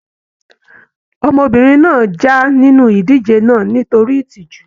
Ọmọbìnrin náà já nínú ìdíje náà nítorí ìtìjú.